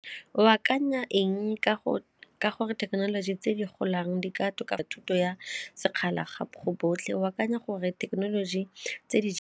O akanya eng ka gore thekenoloji tse di golang di ka tlhoka thuto ya sekgala gape go botlhe, o akanya gore thekenoloji tse di?